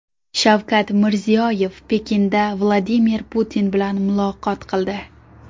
Shavkat Mirziyoyev Pekinda Vladimir Putin bilan muloqot qildi.